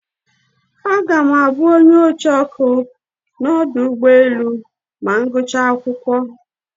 Aga me abu onye ocheoku na odu ugboelu ma m gacha ulo akwokwo.